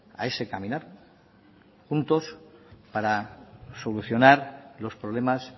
a ese caminar juntos para solucionar los problemas